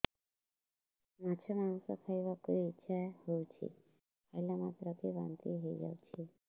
ମାଛ ମାଂସ ଖାଇ ବାକୁ ଇଚ୍ଛା ହଉଛି ଖାଇଲା ମାତ୍ରକେ ବାନ୍ତି ହେଇଯାଉଛି